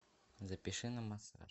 запиши на массаж